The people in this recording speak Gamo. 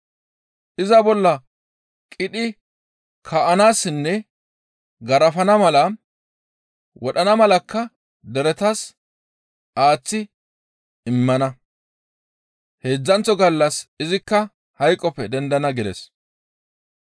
Iza bolla qidhi kaa7anaassinne garafana mala, wodhana malakka deretas aaththi immana; heedzdzanththo gallas izikka hayqoppe dendana» gides.